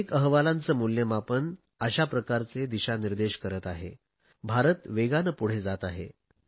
अनेक अहवालांचे मूल्यमापन अशा प्रकारचे दिशानिर्देश करत आहे की भारत वेगाने पुढे जात आहे